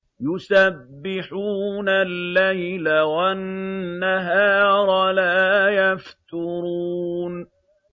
يُسَبِّحُونَ اللَّيْلَ وَالنَّهَارَ لَا يَفْتُرُونَ